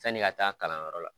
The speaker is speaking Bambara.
Sani i ka taa kalan yɔrɔ la.